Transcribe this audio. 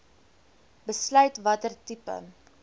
besluit watter tipe